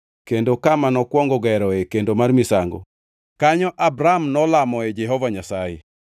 kendo kama nokwongo geroe kendo mar misango. Kanyo Abram nolamoe Jehova Nyasaye.